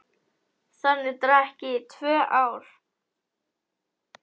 Þannig drakk ég í tvö ár.